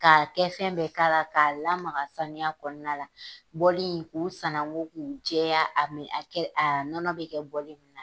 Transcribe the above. Ka kɛ fɛn bɛɛ kɛla, k'a lamaga, sanuya kɔnɔna, bɔli k'u sanwou, k'u jɛya, a nɔnɔ bi kɛ min na.